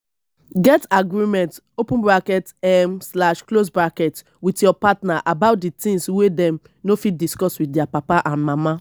get agreement open bracket um slash close bracket with your partner about di things wey dem no fit discuss with their papa and mama